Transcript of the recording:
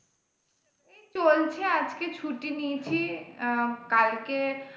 এই চলছে আর কি ছুটি নিয়েছি আহ কালকে,